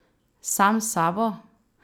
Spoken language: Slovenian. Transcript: Sam s sabo?